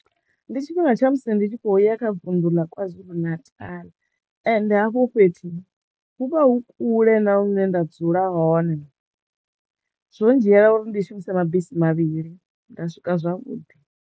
Ndi tshifhinga tsha musi ndi tshi khouya kha vunḓu ḽa Kwazulu-Natal ende hafhu fhethu hu vha hu kule na hune nda dzula hone zwo ndzhiela uri ndi shumise mabisi mavhili nda swika zwavhuḓi.